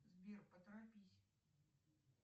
сбер поторопись